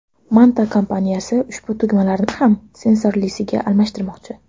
Manta kompaniyasi ushbu tugmalarni ham sensorlisiga almashtirmoqchi.